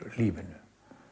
lífinu